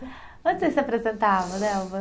Onde vocês se apresentavam, Nelva?